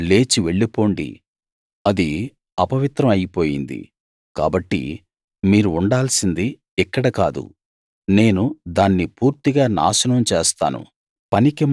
లేచి వెళ్లిపోండి అది అపవిత్రం అయిపోయింది కాబట్టి మీరు ఉండాల్సింది ఇక్కడ కాదు నేను దాన్ని పూర్తిగా నాశనం చేస్తాను